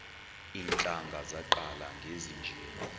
iintlanga zaqala ngezinje